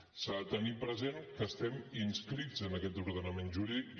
s’ha de tenir present que estem inscrits en aquest ordenament jurídic